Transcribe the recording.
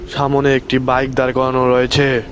সামোনে একটি বাইক দাঁড় করানো রয়েছে।